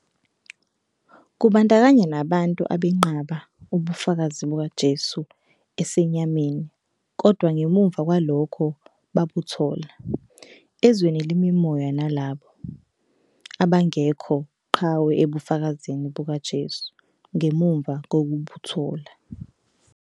Kubandakanya nabantu abenqaba "ubufakazi bukaJesu esenyameni, kodwa ngemuva kwalokho babuthola" ezweni lemimoya nalabo "abangekho qhawe ebufakazini bukaJesu" ngemuva kokubuthola.